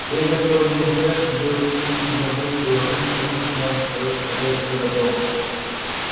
бегая целый день в упряжке белый клык не забывал и о том что ночью надо сторожить хозяйское добро